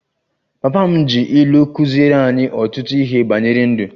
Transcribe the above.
Papa m ji ilu kụziere anyị ọtụtụ ihe banyere ndụ